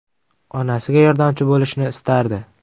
Onasiga yordamchi bo‘lishni istardi.